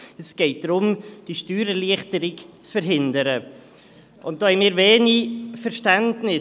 Es geht darum, die Steuererleichterung zu verhindern, und dafür haben wir wenig Verständnis.